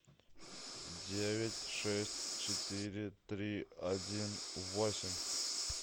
девять шесть четыре три один восемь